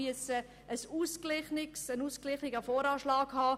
Wir müssen einen ausgeglichenen VA haben.